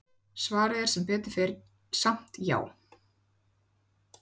Svarið er sem betur fer samt já!